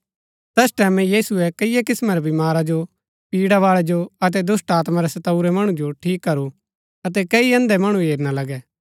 तैस टैमैं यीशुऐ कईआ किस्‍मां रै बीमारा जो पीड़ा बाळै जो अतै दुष्‍टात्मा रै सताऊरै मणु जो ठीक करू अतै कई अन्धै मणु हेरना लगै